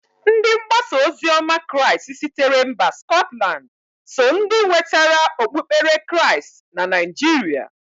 Ndi mgbasaozioma crịast sitere mba skọtland so ndi nwetara okpukpere crịast na Naijịrịa.